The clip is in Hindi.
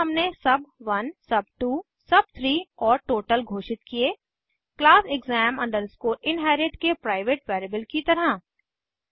फिर हमने सुब1 सुब2 सुब3 और टोटल घोषित किये क्लास exam inherit के प्राइवेट वेरिएबल की तरह